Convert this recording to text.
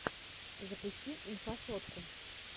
запусти инфасотку